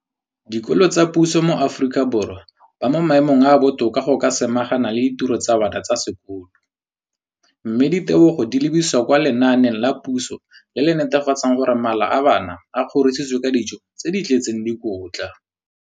Dikolo tsa puso mo Aforika Borwa ba mo maemong a a botoka a go ka samagana le ditiro tsa bona tsa sekolo, mme ditebogo di lebisiwa kwa lenaaneng la puso le le netefatsang gore mala a bona a kgorisitswe ka dijo tse di tletseng dikotla.